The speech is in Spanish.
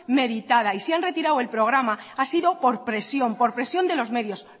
meditada y se han retirado el programa ha sido por presión por presión de los medios